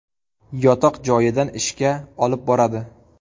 Yotoq joyidan ishga olib boradi.